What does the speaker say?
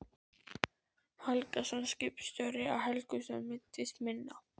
Helgason, skipstjóri á Helgustöðum, meiddist minna.